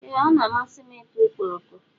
Ee, ọ na-amasị m ị ta ọkpọrọko.